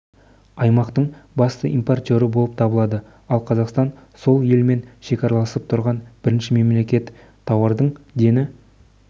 аймақтың басты импортері болып табылады ал қазақстан сол елмен шекараласып тұрған бірінші мемлекет тауардың дені